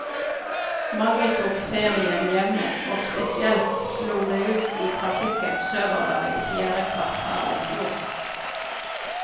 Mange tok ferien hjemme, og spesielt slo det ut i trafikken sørover i fjerde kvartal i fjor.